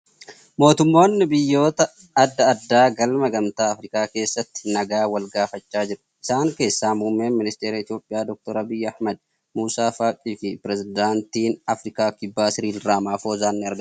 Mootummoonni biyyoota adda addaa galma gamtaa Afrikaa keessatti nagaa wal gaafachaa jiru. Isaan keessaa muummeen ministara Itiyoophiyaa Dr. Abiyyi Ahmad, Muusaa Faaqii fi Pireezidaantiin Afrikaa kibbaa Siriil Ramaafoosaan ni argamu